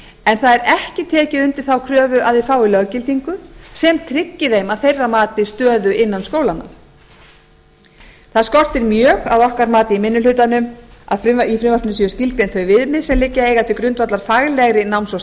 en það er ekki tekið undir þá kröfu að þeir fái löggildingu sem tryggi þeim að þeirra mati stöður innan skólanna það skortir mjög að okkar mati í minni hlutanum á að í frumvarpinu séu skilgreind þau viðmið sem liggja eiga til grundvallar faglegri náms og